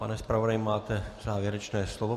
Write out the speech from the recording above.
Pane zpravodaji, máte závěrečné slovo.